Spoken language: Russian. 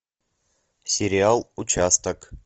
сериал участок